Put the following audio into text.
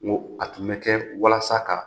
N ko a tun bɛ kɛ walasa ka